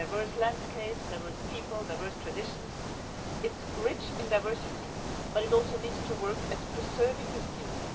It has diverse landscapes, diverse peoples, and diverse traditions. It is rich in diversity, but it also needs to work at preserving this beauty.